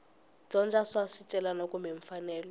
dyondza swa swicelwa kumbe mfanelo